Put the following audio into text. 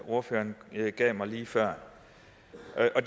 ordføreren gav mig lige før der